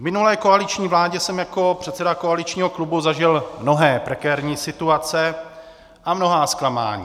V minulé koaliční vládě jsem jako předseda koaličního klubu zažil mnohé prekérní situace a mnohá zklamání.